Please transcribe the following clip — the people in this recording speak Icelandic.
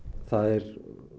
það er